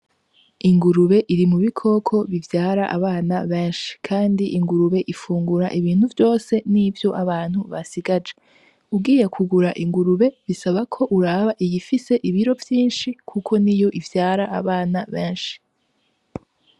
Ingurube iri mubikoko bivyara abana benshi kandi ingurube ifungura ibintu vyose n'ivyo abantu basigaje, ugiye kugura ingurube bisaba ko uraba iyifise ibiro vyinshi kuko n'iyo ivyara abana benshi.